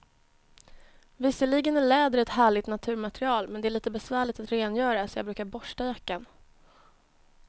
Visserligen är läder ett härligt naturmaterial, men det är lite besvärligt att rengöra, så jag brukar borsta jackan.